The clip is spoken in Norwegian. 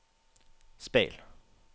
speil